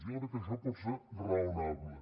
jo crec que això pot ser raonable